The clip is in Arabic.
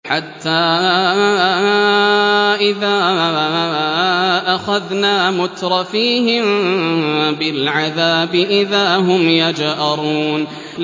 حَتَّىٰ إِذَا أَخَذْنَا مُتْرَفِيهِم بِالْعَذَابِ إِذَا هُمْ يَجْأَرُونَ